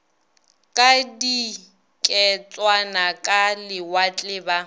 ka diketswana ka lewatle ba